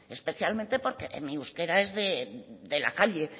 especialmente porque mi euskera es de la calle